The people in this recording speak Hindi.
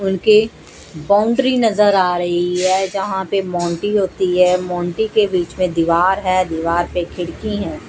उनके बाउंड्री नजर आ रही है जहां पे मोंटी होती है मोंटी के बीच में दीवार है दीवार पे खिड़की हैं।